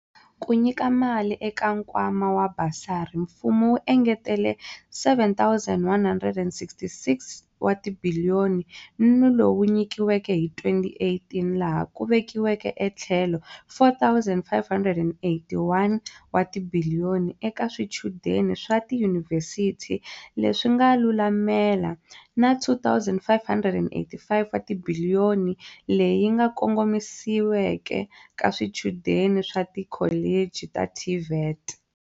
Ku nyika mali eka nkwama wa basari, mfumo wu engetele R7.166 wa tibiliyo ni lowu wu nyikiweke hi 2018 laha ku vekiweke e tlhelo R4.581 wa tibiliyoni eka swichudeni swa tiyunivhesiti leswi nga lulamela na R2.585 wa tibiliyoni leyi yi kongomisiweke ka swichudeni swa tikholichi ta TVET.